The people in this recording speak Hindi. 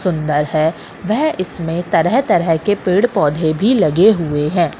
सुंदर है वह इसमें तरह-तरह के पेड़-पौधे भी लगे हुए हैं।